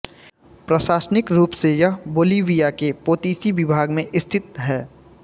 प्रशासनिक रूप से यह बोलिविया के पोतोसी विभाग में स्थित है